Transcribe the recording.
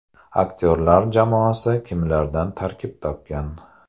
Aktyorlar jamoasi kimlardan tarkib topgan?